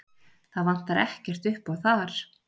Það vantar ekkert uppá þar.